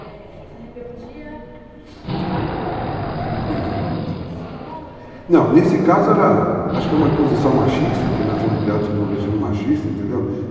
Mas essa rebeldia acabava... você dizia que tem reivindicações... Não, nesse caso era... acho que é uma imposição machista, que nós fomos criados sob um regime machista, entendeu?